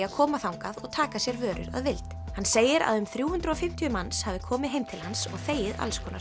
að koma þangað og taka sér vörur að vild hann segir að um þrjú hundruð og fimmtíu manns hafi komið heim til hans og þegið alls konar